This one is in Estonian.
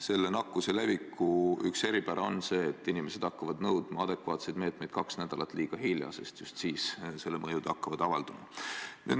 Selle nakkuse leviku üks eripärasid on see, et inimesed hakkavad nõudma adekvaatseid meetmeid kaks nädalat liiga hilja, sest just siis hakkavad mõjud avalduma.